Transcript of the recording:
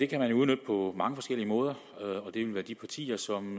kan man jo udnytte på mange forskellige måder og det vil være de partier som